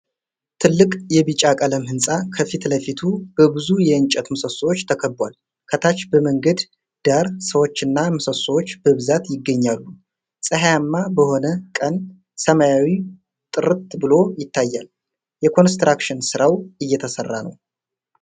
ትልቅ የቢጫ ቀለም ሕንፃ ከፊት ለፊቱ በብዙ የእንጨት ምሰሶዎች ተከቧል። ከታች በመንገድ ዳር ሰዎችና ምሰሶዎች በብዛት ይገኛሉ። ፀሐያማ በሆነ ቀን ሰማዩ ጥርት ብሎ ይታያል። የኮንስትራክሽን ሥራው እየተሰራ ነው።